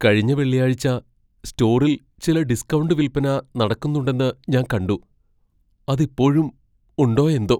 കഴിഞ്ഞ വെള്ളിയാഴ്ച സ്റ്റോറിൽ ചില ഡിസ്കൗണ്ട് വിൽപ്പന നടക്കുന്നുണ്ടെന്ന് ഞാൻ കണ്ടു. അതിപ്പോഴും ഉണ്ടോയെന്തോ!